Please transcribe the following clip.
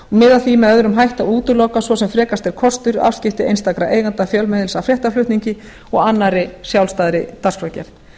miða að því með öðrum hætti að útiloka svo sem frekast er kostur afskipti einstakra eigenda fjölmiðils af fréttaflutningi og annarri sjálfstæðri dagskrárgerð